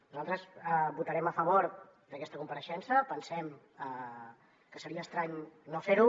nosaltres votarem a favor d’aquesta compareixença pensem que seria estrany no fer ho